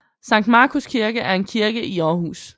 Sankt Markus Kirke er en kirke i Aarhus